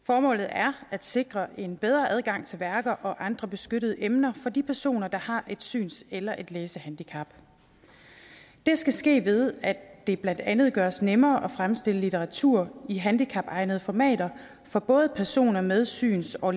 formålet er at sikre en bedre adgang til værker og andre beskyttede emner for de personer der har et syns eller et læsehandicap det skal ske ved at det blandt andet gøres nemmere at fremstille litteratur i handicapegnede formater for både personer med syns og